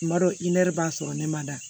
Tuma dɔw i n'i b'a sɔrɔ ne ma da